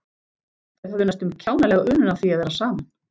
Þau höfðu næstum kjánalega unun af því að vera saman.